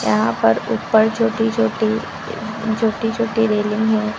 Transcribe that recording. यहां पर ऊपर छोटी छोटी छोटी छोटी रेलिंग हैं।